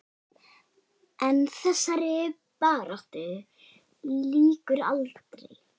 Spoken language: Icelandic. En þessari baráttu lýkur aldrei.